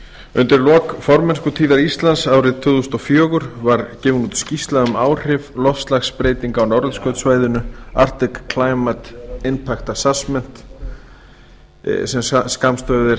undir lok formennskutíðar íslands árið tvö þúsund og fjögur var gefin út skýrsla um áhrif loftslagsbreytinga á norðurskautssvæðinu arctic climate impact assessment sem skammstafað